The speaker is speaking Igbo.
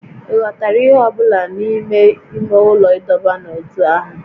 Ị ghọtara ihe ọ bụla n'ime ime ụlọ ịdọba n'ótú ahụ?